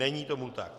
Není tomu tak.